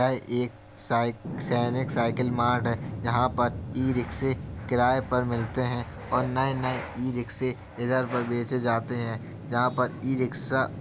यह एक साईक सैनिक साइकल मार्ट है जहाँ पर ई-रिक्शें किराए पर मिलते है और नए नए ई-रिक्शें इधर पर बेचे जाते हैं जहाँ पर ई-रिक्शा --